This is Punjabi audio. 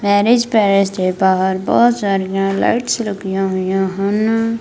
ਮੈਰਿਜ ਪੈਲੇਸ ਦੇ ਬਾਹਰ ਬਹੁਤ ਸਾਰੀਆਂ ਲਾਈਟਸ ਲੱਗੀਆਂ ਹੋਈਆਂ ਹਨ।